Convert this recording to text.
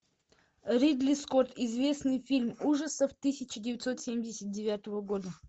ридли скотт известный фильм ужасов тысяча девятьсот семьдесят девятого года